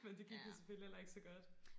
men det gik jo selvfølgelig heller ikke så godt